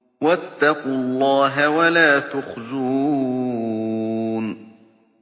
وَاتَّقُوا اللَّهَ وَلَا تُخْزُونِ